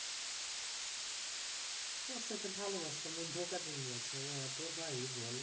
ওর সাথে ভালবাসতাম ও ধোঁকা দিনদিয়েছে অইয়া তো হয় বোল